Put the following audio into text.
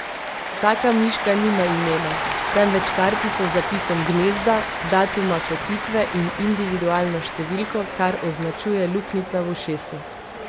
Vsaka miška nima imena, temveč kartico z zapisom gnezda, datuma kotitve in individualno številko, kar označuje luknjica v ušesu.